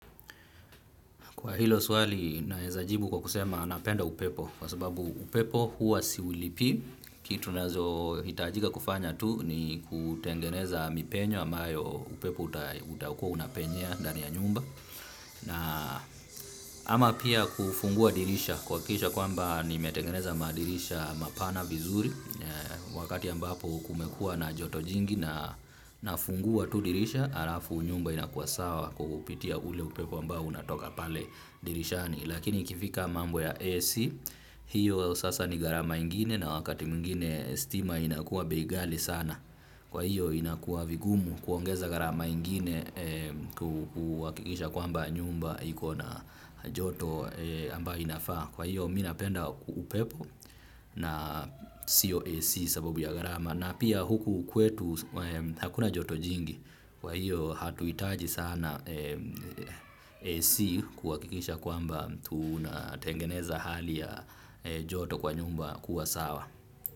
Kwa hilo swali, naezajibu kwa kusema napenda upepo, kwa sababu upepo huwa siulipii, kitu nazohitajika kufanya tu ni kutengeneza mipenyo, ambayo upepo utakua unapenyea ndani ya nyumba, na ama pia kufungua dirisha, kuhakikisha kwamba nimetengeneza madirisha mapana vizuri, wakati ambapo kumekua na joto jingi na nafungua tu dirisha, alafu nyumba inakua sawa kwa kupitia ule upepo ambao unatoka pale dirishani. Lakini kifika mambo ya AC Hiyo sasa ni gharama ingine na wakati mwingine stima inakua bei ghali sana. Kwa hiyo inakua vigumu kuongeza gharama ingine. Kuhakikisha kwamba nyumba iko na joto ambayo inafaa. Kwa hiyo mi napenda upepo na sio AC sababu ya gharama. Na pia huku kwetu hakuna joto jingi. Kwa hiyo hatuhitaji sana AC kuhakikisha kwamba tunatengeneza hali ya joto kwa nyumba kuwa sawa.